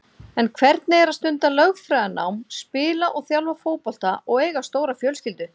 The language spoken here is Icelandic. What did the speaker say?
En hvernig er að stunda lögfræðinám, spila og þjálfa fótbolta og eiga stóra fjölskyldu?